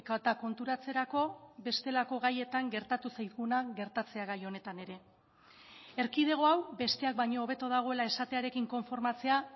eta konturatzerako bestelako gaietan gertatu zaiguna gertatzea gai honetan ere erkidego hau besteak baino hobeto dagoela esatearekin konformatzea